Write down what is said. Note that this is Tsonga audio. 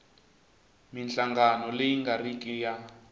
minhlangano leyi nga riki ya